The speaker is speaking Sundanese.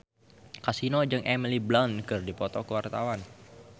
Kasino jeung Emily Blunt keur dipoto ku wartawan